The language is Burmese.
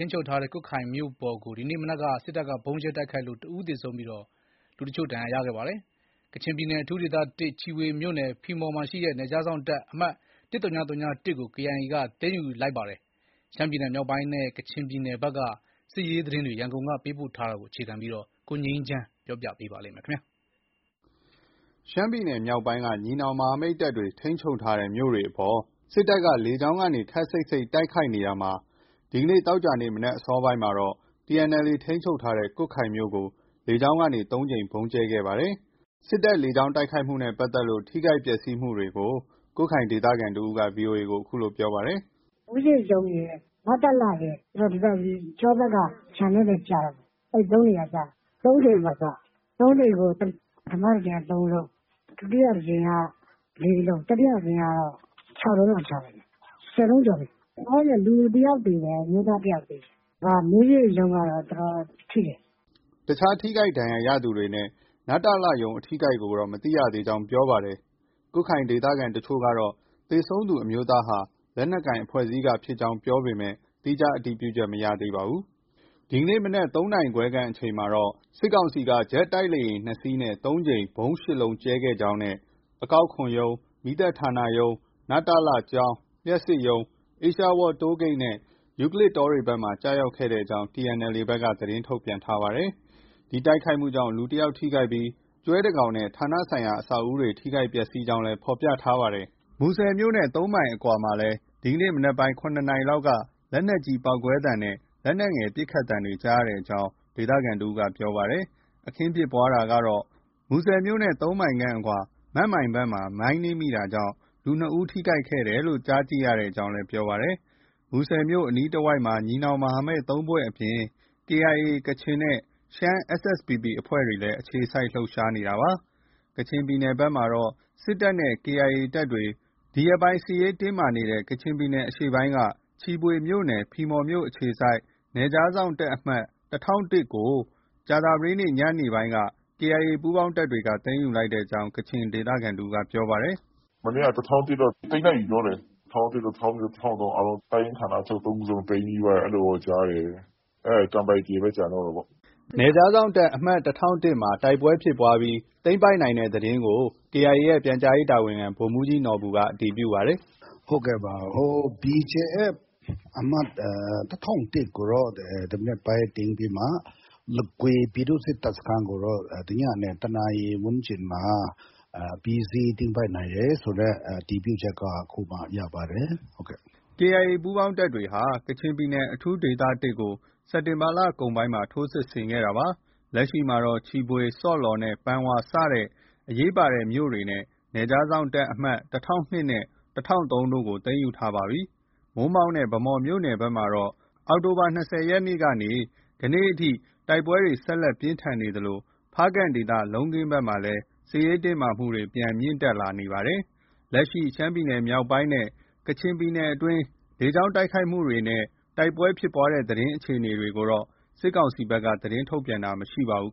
န်းချုပ်ထားတဲ့ ကွတ်ခိုင်မြို့ပေါ်ကို ဒီနေ့မနက်က စစ်တပ်က ဗုံးကြဲတိုက်ခိုက်ခဲ့လို့ တဦး သေဆုံးပြီး တချို့ ဒဏ်ရာရခဲ့ပါတယ်။ ကချင်ပြည်နယ် အထူးဒေသ ၁၊ ချီဖွေမြို့နယ် ဖီမော်ရှိ နယ်ခြားစောင့်တပ် အမှတ် ၁၀၀၁ ကိုလည်း KIA က သိမ်းယူလိုက်ကြောင်း သတင်းတွေလည်း ထွက်ပေါ်နေပါတယ်။ ရှမ်းပြည်နယ်မြောက်ပိုင်းနဲ့ ကချင်ပြည်နယ်ဘက်က စစ်ရေးသတင်း ရန်ကုန်ကပေးပို့တဲ့သတင်းကို အခြေခံပြီး တင်ပြထားပါတယ်။ ရှမ်းပြည်နယ် မြောက်ပိုင်းက ညီနောင်မဟာမိတ်တပ်တွေ ထိန်းချုပ်ထားတဲ့ မြို့တွေအပေါ် စစ်တပ်က လေကြောင်းနဲ့ ခပ်စိပ်စိပ် တိုက်ခိုက်နေတာမှာ ဒီကနေ့ သောကြာနေ့ မနက် အစောပိုင်းမှာတော့ TNLA ထိန်းချုပ်ထားတဲ့ ကွတ်ခိုင်မြို့ကို လေကြောင်းကနေ ၃ ကြိမ် ဗုံးကြဲတိုက်ခိုက်ခဲ့ပါတယ်။ စစ်တပ်လေကြောင်း တိုက်ခိုက်မှုနဲ့ပတ်သက်လို့ ထိခိုက် ပျက်စီးမှုတွေကို ကွတ်ခိုင်ဒေသခံတဦးက VOA ကို အခုလို ပြောပါတယ်။ “မူးယစ်ရုံးရယ်၊ နတလရယ် ပြီးတော့ ဒီဘက် ကျောဘက်က ခြံထဲလည်း ကျတယ်ပေါ့။ ၃ နေရာကျတာ။ ၃ ကြိမ်ပေါ့သူက။ ၃ ကြိမ်ကို ပထမတကြိမ်က ၃လုံး။ ဒုတိယတကြိမ်က ၄ လုံး။ တတိယတကြိမ်က ၆ လုံးလောက် ချတယ်ဗျ။ ၁၀ လုံးကျော်တယ်။ လောလောဆည် လူတယောက်သေတယ်။ အမျိုးသားတယောက် သေတယ်။ မူးယစ်ရုံးကတော့ တော်တော်ထိတယ်။” အခြား ထိခိုက်ဒဏ်ရာရသူတွေနဲ့ နတလရုံး ( နယ်စပ်ဒေသနဲ့ တိုင်းရင်းသားလူမျိုးများဖွံ့ဖြိုးတိုးတက်ရေး ဦးစီးဌာန) အထိအခိုက်ကိုတော့ မသိရသေးကြောင်းပြောပါတယ်။ ကွတ်ခိုင်ဒေသခံတချို့ကတော့ သေဆုံးသူအမျိုးသားဟာ လက်နက်ကိုင် အဖွဲ့အစည်းက ဖြစ်ကြောင်း ပြောဆိုပေမဲ့ သီးခြားတည်ပြုချက်မရသေးပါဘူး။ ဒီကနေ့မနက် ၃ နာရီခွဲ အချိန်ခန့်မှာ စစ်ကောင်စီက ဂျက်တိုက်လေယာဉ် ၂ စီးနဲ့ ၃ ကြိမ်၊ ဗုံး ၈ လုံး ကြဲချခဲ့ကြောင်း၊ အကောက်ခွန်ရုံး၊ မီးသတ်ဌာနရုံး၊ နတလ ကျောင်း၊ လျှပ်စစ်ရုံး၊ အေးရှားဝါးလ် တိုးဂိတ်နဲ့ ယူကလစ်တောဘက်တွေမှာ ကျရောက်ကြောင်း TNLA ဘက်က သတင်းထုတ်ပြန်ထားပါတယ်။ ဒီတိုက်ခိုက်မှုကြောင့် လူတယောက် ထိခိုက်ပြီး ကျွဲတကောင်နဲ့ ဌာနဆိုင်ရာ အဆောက်အဦတွေ ထိခိုက်ပျက်ဆီးကြောင်းလည်း ဖော်ပြထားပါတယ်။ မူဆယ်မြို့နဲ့ ၃ မိုင်အကွာမှာလည်း ဒီကနေ့ မနက်ပိုင်း ၇နာရီလောက်က လက်နက်ကြီးပေါက်ကွဲသံနဲ့ လက်နက်ငယ်ပစ်ခတ်သံတွေ ကြားရကြောင်း ဒေသခံတဦးက ပြောဆိုပါတယ်။ အခင်းဖြစ်ပွားတာကတော့ မူဆယ်မြို့နဲ့ ၃မိုင်အကွာ မန့်မိုင်ဘက်မှာ မိုင်းနင်းမိတာကြောင့် လူ ၂ယောက် ထိခိုက်တယ်လို့ ကြားသိရကြောင်းလည်း ပြောပါတယ်။ မူဆယ်မြို့အနီးတဝိုက်မှာ ညီနောင်မဟာမိတ် ၃ ဖွဲ့အပြင် ကချင်KIA နဲ့ ရှမ်း SSPP အဖွဲ့တွေ အခြေစိုက် လှုပ်ရှားနေတာဖြစ်ပါတယ်။ ကချင်ပြည်နယ်ဘက်မှာတော့ စစ်တပ်နဲ့ KIA ကချင်တပ်တွေ ဒီရက်ပိုင်း စစ်ရေးတင်းမာနေတဲ့ ကချင်ပြည်နယ် အရှေ့ပိုင်းက ချီဖွေမြို့နယ် ဖီမော်မြို့အခြေစိုက် နယ်ခြားစောင့်တပ် အမှတ် ၁၀၀၁ ကို ကြာသပတေးနေ့ညနေပိုင်းက KIA ပူးပေါင်းတပ်တွေက သိမ်းယူလိုက်ကြောင်း ကချင်ဒေသခံ တဦးက ပြောပါတယ်။ “မနေ့က ၁၀၀၁ တော့ သိမ်းလိုက်ပြီပြောတယ်။ ၁၀၀၁၊ ၁၀၀၂၊ ၁၀၀၃ တပ်ရင်းဌာနချုပ် ၃ ခုစလုံး သိမ်းပြီးသွားပြီ အဲလိုတော့ ကြားတယ်။ ကန်ပိုက်တီပဲ ကျန်တော့တာပေါ့။” နယ်ခြားစောင့်တပ် အမှတ် ၁၀၀၁ မှာ တိုက်ပွဲဖြစ်ပွားတာတွေ ရှိပေမဲ့ သိမ်းပိုက်နိုင်ခဲ့ကြောင်း KIA ရဲ့ ပြန်ကြားရေးတာဝန်ခံ ဗိုလ်မှုးကြီးနော်ဘူက အတည်ပြုပါတယ်။ “ဟုတ်ကဲ့ပါ။ BGF အမှတ် ၁၀၀၁ ကို ဒီမနက်ပိုင်းသိမ်းပြီးမှ လဂွေပြည်သူ့စစ်တပ်စခန်းကိုတော့ ညနေ ၁ နာရီဝန်းကျင်မှာ အပြီးအစီးသိမ်းပိုက်နိုင်တယ်ဆိုတဲ့ အတည်ပြုချက်ကိုအခုပဲရပါတယ်။” KIA ပူးပေါင်းတပ်တွေဟာ ကချင်ပြည်နယ် အထူးဒေသ ၁ ကို စက်တင်ဘာလကုန်ပိုင်းမှာ ထိုးစစ်ဆင်ခဲ့တာပါ။ လက်ရှိမှာတော့ ချီဖွေ၊ ဆော့လော်နဲ့ ပန်ဝါ စတဲ့ အရေးပါတဲ့ မြို့တွေနဲ့ နယ်ခြားစောင့်တပ် အမှတ် ၁၀၀၂ နဲ့ ၁၀၀၃ တို့ကို သိမ်းယူထားပြီဖြစ်ပါတယ်။ မိုးမောက်နဲ့ ဗန်းမော် မြို့နယ်ဘက်မှာတော့ အောက်တိုဘာလ ၂၀ရက်နေ့ကနေ ယနေ့အထိ တိုက်ပွဲတွေ ဆက်လက် ပြင်းထန်သလို ဖားကန့်ဒေသ လုံးခင်းဘက်မှာလည်း စစ်ရေးတင်းမာမှုတွေ ပြန်လည် မြင့်တက်လာနေပါတယ်။ လက်ရှိ ရှမ်းမြောက်နဲ့ ကချင်ပြည်နယ်အတွင်း လေကြောင်းတိုက်ခိုက်တာနဲ့ တိုက်ပွဲဖြစ်ပွားတဲ့အခြေအနေတွေကိုတော့ စစ်ကောင်စီဘက်က သတင်းထုတ်ပြန်တာ မရှိပါဘူး